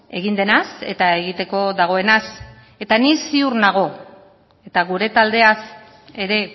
egin denaz eta egiteko dagoenaz eta ni ziur nago eta gure taldeaz ere